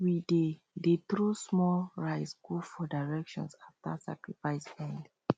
we dey dey throw small rice go four directions after sacrifice end